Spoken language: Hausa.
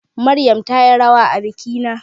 Maryam tayi rawa a bikina